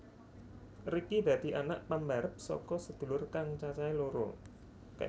Ricky dadi anak pambarep saka sedulur kang cacahé loro